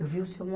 Eu vi o Seu